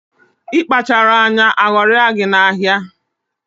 Ị kpacharọ anya, aghọrịa gị na ahịa a